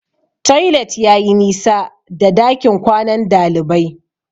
Toilet yayi nisa da dakin kwanan dalibai.